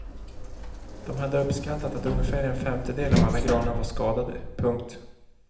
De hade uppskattat att ungefär en femtedel av alla granar var skadade. punkt